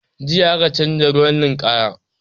Jiya aka canza ruwan ninkaya